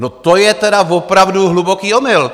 No, to je tedy opravdu hluboký omyl!